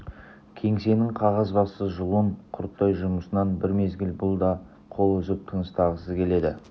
кеңсенің қағазбасты жұлын құрттай жұмысынан бір мезгіл бұл да қол үзіп тыныстағысы келеді